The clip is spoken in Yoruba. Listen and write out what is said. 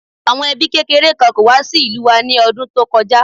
Àwọn ẹbí kékeré kan kó wá sí ìlú wa ní ọdún tó kọjá